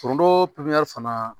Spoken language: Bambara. Foronto pipiniyɛri fana